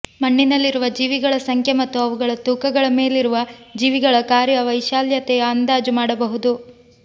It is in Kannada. ಮಣ್ಣಿನಲ್ಲಿರುವ ಜೀವಿಗಳ ಸಂಖ್ಯೆ ಮತ್ತು ಅವುಗಳ ತೂಕಗಳ ಮೇಲಿರುವ ಜೀವಿಗಳ ಕಾರ್ಯ ವೈಶಾಲ್ಯತೆಯ ಅಂದಾಜು ಮಾಡಬಹುದು